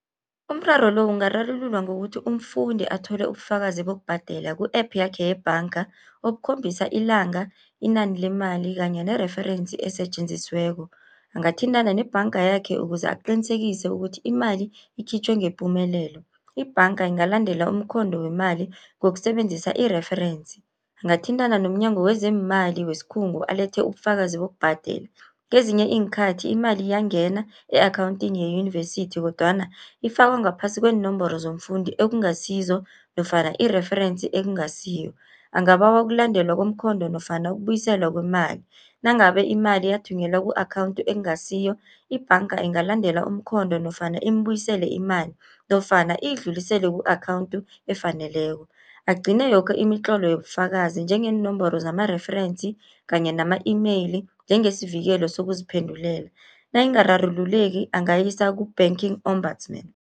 Umraro lo ungararululwa ngokuthi, umfundi athole ubufakazi bokubhadela ku-app yakhe yebhanga okukhombisa ilanga, inani lemali kanye nereferensi esetjenzisiweko. Angathintana nebhanga yakhe ukuze aqinisekise, ukuthi imali ikhitjhwe ngepumelelo. Ibhanga ingalandela umkhondo wemali ngokusebenzisa ireferensi. Angathintana nomnyango wezeeMali wesikhungu alethe ubufakazi bokubhadela. Kezinye iinkhathi imali iyangena e-akhawuntini yeyunivesithi kodwana ifakwa ngaphasi kweenomboro zomfundi ekungasizo nofana ireferensi ekungasiyo. Angabawa ukulandelwa komkhondo nofana ukubuyiselwa kwemali, nangabe imali yathunyelwa ku-akhawunthu ekungasiyo ibhanga ingalandela umkhondo nofana imbuyisele imali nofana iyidlulisele ku-akhawunthu efaneleko. Agcine yoke imitlolo yobufakazi njengeenomboro zamareferensi kanye nama e-mail njengesivikelo sokuziphendulela. Nayingararululeki angayisa ku-banking ombudsman.